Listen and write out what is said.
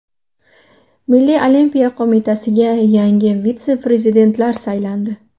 Milliy olimpiya qo‘mitasiga yangi vitse-prezidentlar saylandi.